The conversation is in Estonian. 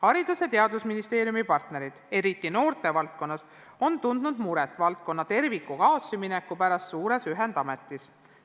Haridus- ja Teadusministeeriumi partnerid, eriti noortevaldkonnas, on tundnud muret valdkonna kui terviku kaotsimineku pärast suures ühendametis.